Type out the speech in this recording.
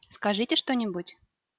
скажите что-нибудь